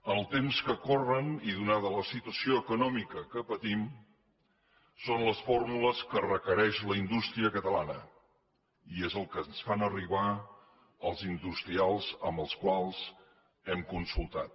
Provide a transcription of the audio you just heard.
en els temps que corren i donada la situació econòmica que patim són les fórmules que requereix la indústria catalana i és el que ens fan arribar els industrials amb els quals hem consultat